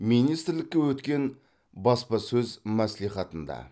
министрлікте өткен баспасөз мәслихатында